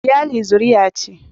iyali zuruya ce